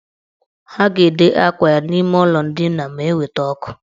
Ha ga-ede akwa ya n' ime ụlọ ndina ma eweta ọkụ.